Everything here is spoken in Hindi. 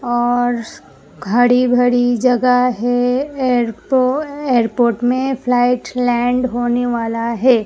और हड़ी भड़ी जगह है एयरपो एयरपोर्ट में फ्लाइट लैंड होने वाला है।